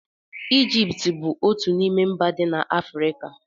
Ijipt bụ otú n'ime mba dị na Afrịka.